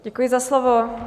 Děkuji za slovo.